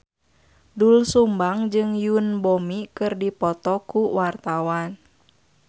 Doel Sumbang jeung Yoon Bomi keur dipoto ku wartawan